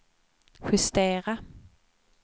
justera